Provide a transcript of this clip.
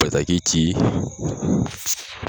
Bataki ci